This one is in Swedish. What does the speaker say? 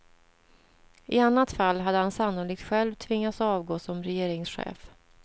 I annat fall hade han sannolikt själv tvingats avgå som regeringschef.